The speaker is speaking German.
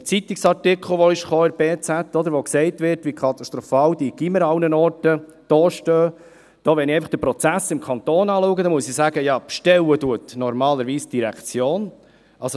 Der Artikel, welcher in der «Berner Zeitung (BZ)» erschienen ist, in dem gesagt wird, wie katastrophal die Gymnasien überall dastehen ... Wenn ich den Prozess im Kanton anschaue, so muss ich sagen, dass normalerweise die Direktion bestellt.